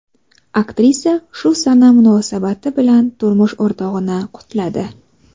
Aktrisa shu sana munosabati bilan turmush o‘rtog‘ini qutladi.